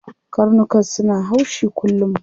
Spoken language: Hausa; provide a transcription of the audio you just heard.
Karnukan suna haushi kullum.